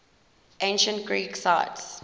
ancient greek sites